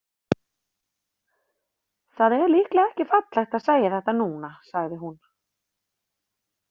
Það er líklega ekki fallegt að segja þetta núna, sagði hún.